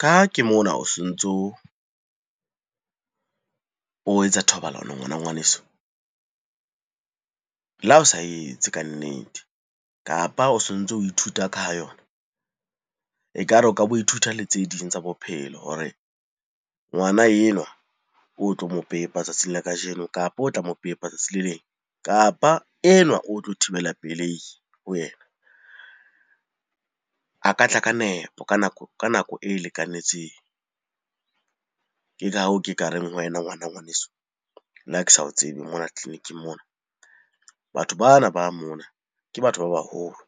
Ka ha ke mona o sontso o etsa thobalano ngwana ngwaneso. Le ha o sa etse kannete, kapa o sontso o ithuta ka ha yona, ekare o ka bo ithuta le tse ding tsa bophelo hore ngwana enwa o tlo mo pepa tsatsing la kajeno, kapo o tla mo pepa tsatsi le leng. Kapa enwa o tlo thibela pelei ho yena, a ka tla ka nepo ka nako e lekanetseng. Ke ka hoo ke ka reng ho wena ngwana ngwaneso, le ha ke sa tsebe mona tleliniking mona. Batho bana ba mona ke batho ba baholo,